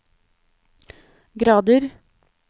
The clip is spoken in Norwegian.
grader